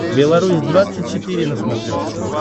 белорусь двадцать четыре на смотрешке